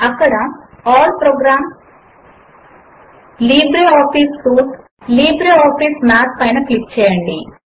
అక్కడ all programs LibreOffice suite LibreOffice Math పైన click చేయండి